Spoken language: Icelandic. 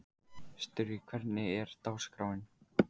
Sturri, hvernig er dagskráin?